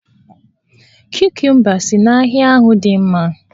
Kukumba si n'ahịa ahụ dị mma